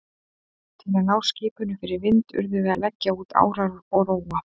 Til að ná skipinu fyrir vind urðum við að leggja út árar og róa.